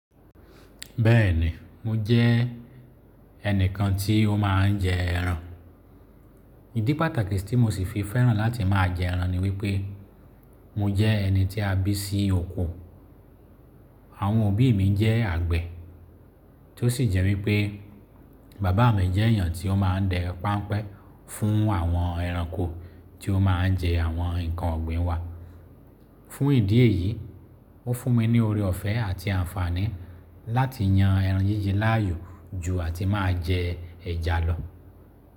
Bẹ́ẹ̀ni mo jẹ́ ẹnìkan tí ó ma ń jẹ ẹran. Ìdí pàtàkì tí mo sì fi fẹ́ràn láti má a jẹ ẹran ni wípé mo jẹ́ ẹni tí a bí sí oko. Àwọn òbí mi jẹ́ àgbẹ̀ tó sì jẹ́ wípé bàbá mi jẹ́ èyàn tí ó ma ń dẹ páńpẹ́ fún àwọn ẹranko tí ó ma ń jẹ àwọn ǹkan ọ̀gbìn wa. Fún ìdí èyí ó fún mi ní oore ọ̀fẹ́ àti àǹfààní láti yan ẹran yíyí láàyò jù àti má a jẹ ẹ̀ja lọ.